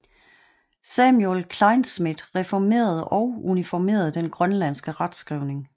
Samuel Kleinschmidt reformerede og uniformerede den grønlandske retskrivning